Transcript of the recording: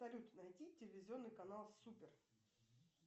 салют найди телевизионный канал супер